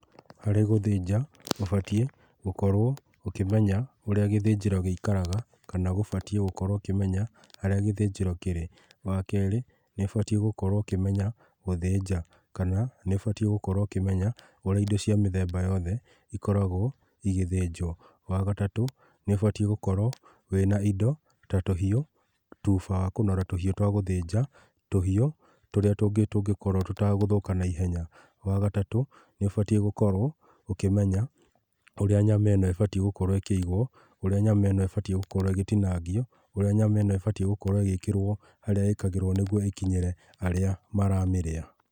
Harĩ gũthĩnja ũbatiĩ gũkorwo ũkĩmenya ũrĩa gĩthĩnjĩro gĩikaraga kana ũbatiĩ gũkorwo ũkĩmenya harĩa gĩthĩnjĩro kĩrĩ. Wakerĩ nĩ ũbatiĩ gũkorwo ũkĩmenya gũthĩnja, kana nĩ ũbatiĩ gũkorwo ũkĩmenya ũrĩa indo cia mĩthemba yothe ikoragwo igĩthĩnjwo. Wagatatũ nĩ ũbatiĩ gũkorwo wĩna indo ta tũhiũ, tuba wa kũnora tũhiũ twa gũthĩnja tũhiũ tũrĩa tũngĩkorwo tũtagũthũka na ihenya. Wagatatũ nĩ ũbatiĩ gũkorwo ũkĩmenya ũrĩa nyama ĩno ĩbatiĩ gũkorwo ĩkĩigwo, ũrĩa nyama ĩno ĩbatiĩ gũkorwo ĩgĩtinangio, ũrĩa nyama ĩno ĩbatiĩ gũkorwo ĩgĩkĩrwo harĩa ĩkagĩrwo nĩgwo ĩkinyĩre arĩa maramĩrĩa.